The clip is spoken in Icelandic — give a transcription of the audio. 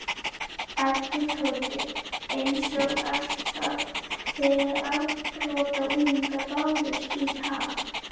æpti Tóti, einsog alltaf þegar afbrotaunglingar bárust í tal.